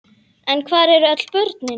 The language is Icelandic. En hvar eru öll börnin?